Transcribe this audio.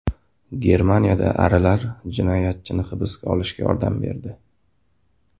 Germaniyada arilar jinoyatchini hibsga olishga yordam berdi.